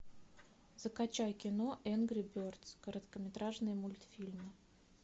закачай кино энгри бердс короткометражные мультфильмы